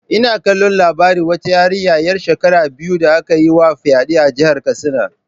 Ina kallon labarin wata yarinya ‘yar shekara biyu da aka yi wa fyade a jihar Katsina.